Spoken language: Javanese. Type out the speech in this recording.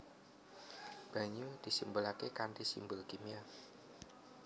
Banyu disimbolaké kanthi simbol kimia